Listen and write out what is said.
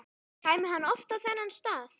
Kæmi hann oft á þennan stað?